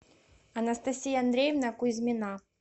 анастасия андреевна кузьмина